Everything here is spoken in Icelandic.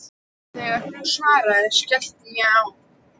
Þegar hún svaraði, skellti ég á.